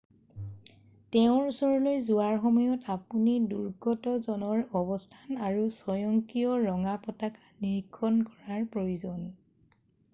"তেওঁৰ ওচৰলৈ যোৱাৰ সময়ত আপুনি দুৰ্গতজনৰ অৱস্থান আৰু স্বয়ংক্ৰিয় ৰঙা পতাকা নিৰীক্ষণ কৰাৰ প্ৰয়োজন। "